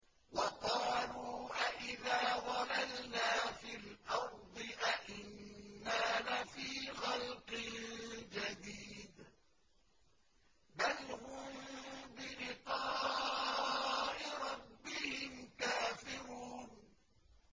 وَقَالُوا أَإِذَا ضَلَلْنَا فِي الْأَرْضِ أَإِنَّا لَفِي خَلْقٍ جَدِيدٍ ۚ بَلْ هُم بِلِقَاءِ رَبِّهِمْ كَافِرُونَ